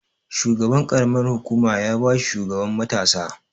Shugaban ƙaramar hukuma ya ba shi shugaban matasa.